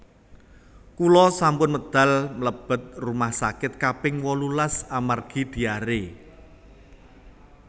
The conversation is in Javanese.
Kula sampun medal mlebet rumah sakit kaping wolulas amargi diare